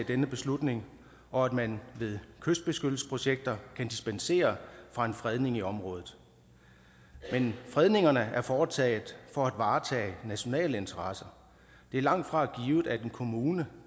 denne beslutning og at man ved kystbeskyttelsesprojekter kan dispensere fra en fredning i området men fredningerne er foretaget for at varetage nationale interesser det er langtfra givet at en kommune